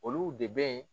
Olu de bɛ